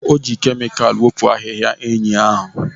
O ji kemikal wepụ ahịhịa enyí ahụ